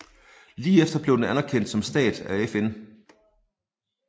Lige efter blev den anerkendt som en stat af FN